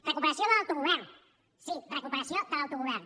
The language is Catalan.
recuperació de l’autogovern sí recuperació de l’autogovern